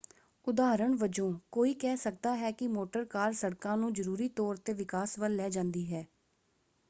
ਉਦਾਹਰਣ ਵਜੋਂ ਕੋਈ ਕਹਿ ਸਕਦਾ ਹੈ ਕਿ ਮੋਟਰ ਕਾਰ ਸੜਕਾਂ ਨੂੰ ਜ਼ਰੂਰੀ ਤੌਰ 'ਤੇ ਵਿਕਾਸ ਵੱਲ ਲੈ ਜਾਂਦੀ ਹੈ।